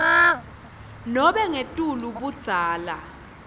nobe ngetulu budzala